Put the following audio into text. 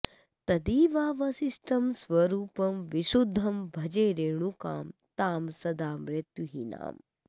तदेवावशिष्टं स्वरूपं विशुद्धं भजे रेणुकां तां सदा मृत्युहीनाम्